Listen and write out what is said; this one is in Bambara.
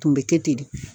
Tun bɛ kɛ ten de